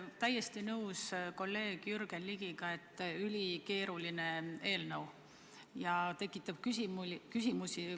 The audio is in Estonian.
Olen täiesti nõus kolleeg Jürgen Ligiga, et see on ülikeeruline eelnõu ja tekitab küsimusi.